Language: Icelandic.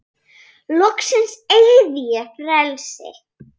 Loksins eygði ég frelsi.